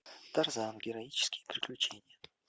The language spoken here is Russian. тарзан героические приключения